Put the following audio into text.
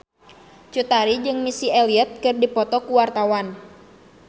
Cut Tari jeung Missy Elliott keur dipoto ku wartawan